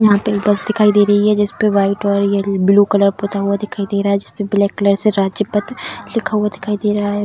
यहाँ पे एक बस दिखाई दे रही है जिसपे वाइट और येल ब्लू कलर पुता हुआ दिखाई दे रहा है जिसपे ब्लैक कलर से राजपथ लिखा हुआ दिखाई दे रहा है।